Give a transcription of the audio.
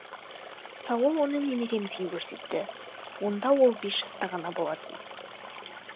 саул оны немеремізге көрсетті онда ол бес жаста ғана болатын